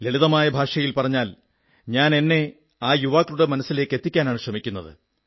ലളിതമായ ഭാഷയിൽ പറഞ്ഞാൽ ഞാൻ എന്നെ ആ യുവാക്കളുടെ മനസ്സിലേക്കെത്തിക്കാനാണു ശ്രമിക്കുന്നത്